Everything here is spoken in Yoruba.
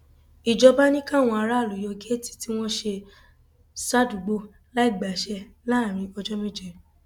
ìjọba ni káwọn aráàlú yọ géètì tí wọn ṣe sádùúgbò láì gbàṣẹ láàrin ọjọ méje